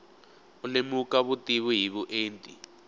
u lemuka vutivi hi vuenti